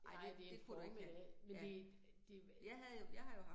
Nej, det formiddag, men det det